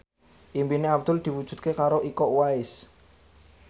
impine Abdul diwujudke karo Iko Uwais